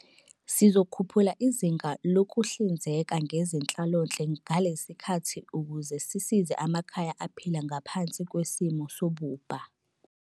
Sizokhuphula izinga lokuhlinzeka ngezenhlalonhle ngalesi sikhathi ukuze sisize amakhaya aphila ngaphansi kwesimo sobubha.